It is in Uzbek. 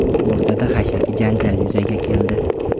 O‘rtada xashaki janjal yuzaga keldi.